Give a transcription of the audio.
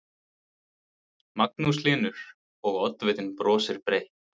Magnús Hlynur: Og, oddvitinn brosir breytt?